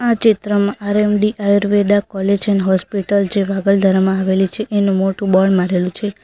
આ ચિત્રમાં આર્યુવેદિક આયુર્વેદા કોલેજ જે વાગલધરામાં આવેલી છે તેનું મોટું બોર્ડ મારેલું છે.